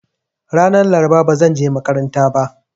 Ranan Laraba ba zanje makaranta ba.